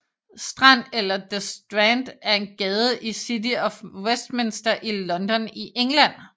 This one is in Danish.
Strand eller the Strand er en gade i City of Westminster i London i England